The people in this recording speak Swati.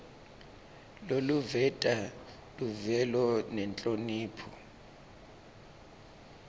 loluveta luvelo nenhlonipho